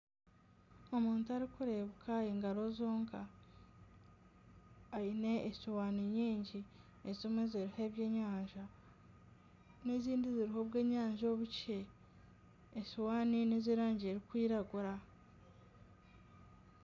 Omuntu arikurebuka engaro zonka aine esihaani nyingi ezimwe eziriho ebyenyanja n'ezindi ziriho obwenyanja obukye esihaani n'ezerangi erikwiragura.